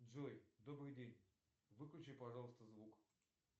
джой добрый день выключи пожалуйста звук